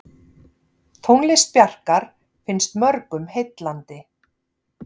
Tónlist Bjarkar finnst mörgum heillandi.